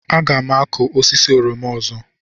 Aga m akụ osisi oroma ọzọ.